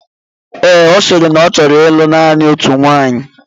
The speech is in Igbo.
Ee, ọ sịrị na ọ ọ chọrọ ịlụ naanị otu nwaanyị.